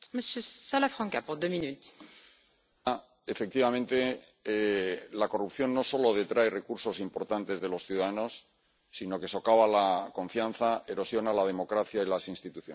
Señora presidenta, efectivamente, la corrupción no solo detrae recursos importantes de los ciudadanos, sino que socava la confianza, erosiona la democracia y las instituciones.